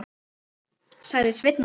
sagði Sveinn Óli.